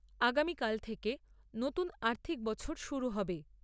আগামীকাল থেকে নতুন আর্থিক বছর শুরু হবে।